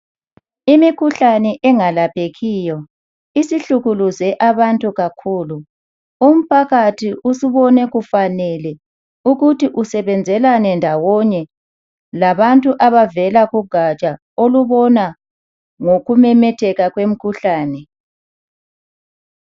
Imikhuhlane engalaphekiyo isihlukuluze abantu kakhulu umphakathi usubone kufanele ukuthi usebenzelane ndawonye labantu abavela kugatsha olubona ngokumemetheka kwemikhuhlane.